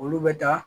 Olu bɛ da